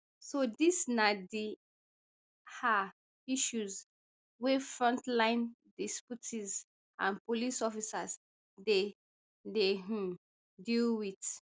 so dis na di are issues wey frontline deputies and police officers dey dey um deal wit